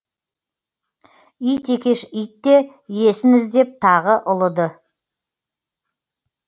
ит екеш итте иесін іздеп тағы ұлыды